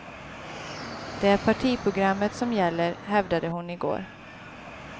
Det är partiprogrammet som gäller, hävdade hon i går.